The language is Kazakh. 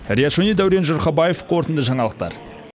риат шони дәурен жұрхабаев қорытынды жаңалықтар